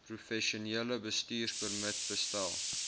professionele bestuurspermit bestel